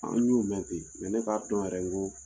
An y'u mɛn ne k'a dɔn yɛrɛ n ko